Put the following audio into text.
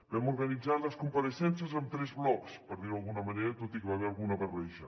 vam organitzar les compareixences en tres blocs per dir ho d’alguna manera tot i que hi va haver alguna barreja